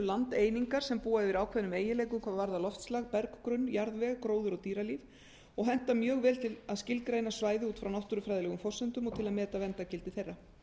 landeiningar sem búa yfir ákveðnum eiginleikum hvað varðar loftslag berggrunn jarðveg gróður og dýralíf og henta mjög vel til að skilgreina svæði út frá náttúrufræðilegum forsendum og til að meta verndargildi þeirra